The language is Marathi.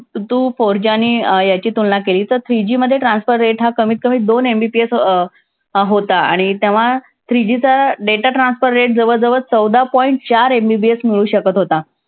तू four G आणि अं याची तुलना केली तर three G मध्ये transfer rate हा कमीतकमी दोन MBPS अं अं होता. आणि तेव्हा three G चा data transfer rate जवळजवळ चौदा point चार MBPS मिळू शकत होता.